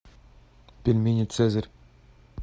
пельмени цезарь